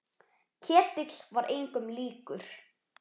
Ketill var engum líkur.